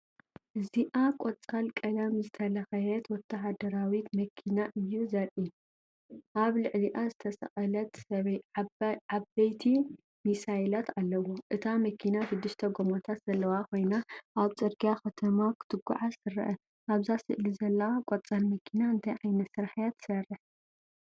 እዚኣ ቆፃል ቀለም ዝተለኽየት ወተሃደራዊት መኪና እዩ ዘርኢ። ኣብ ልዕሊዓ ዝተሰቕለ ዓበይቲ ሚሳይላት ኣለዎ። እታ መኪና ሽዱሽተ ጎማታት ዘለዋ ኮይና ኣብ ጽርግያ ከተማ ክትጓዓዝ ትርአ። ኣብዛ ስእሊ ዘላ ቆፃል መኪና እንታይ ዓይነት ስራሕ እያ ትሰርሕ?